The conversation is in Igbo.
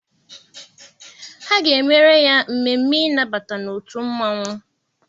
Ha ga-emere ya mmemme ịnabata n'otu mmanwụ.